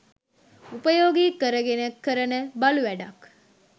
උපයෝගී කරගෙන කරන බලු වැඩක්..